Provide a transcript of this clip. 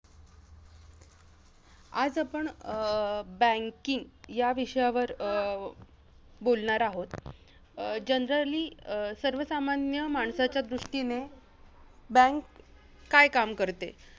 आज आपण अं banking विषयावर अं बोलणार आहोत. अं generally अं सर्वसामान्य माणसाच्या दृष्टीने bank काय काम करते?